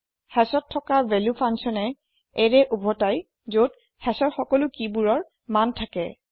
hashত থকা ভেলো ফাঙ্কচ্যনে এৰে উভতাই যত hashৰ সকলো কিবোৰৰ মূল্য থাকে